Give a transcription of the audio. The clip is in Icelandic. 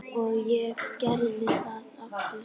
Og ég gerði það aftur.